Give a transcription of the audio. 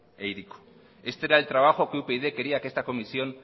e hiriko este era el trabajo que upyd quería que esta comisión